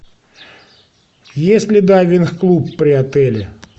есть ли дайвинг клуб при отеле